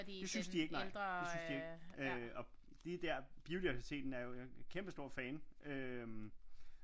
Det syntes de ikke nej det syntes de ikke øh og lige der biodiversiteten er jo kæmpe stor fan øh